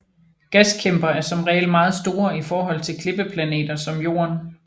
Gaskæmper er som regel meget store i forhold til klippeplaneter som Jorden